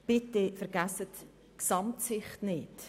Bitte vergessen Sie die Gesamtsicht nicht.